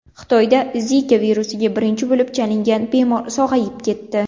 Xitoyda Zika virusiga birinchi bo‘lib chalingan bemor sog‘ayib ketdi.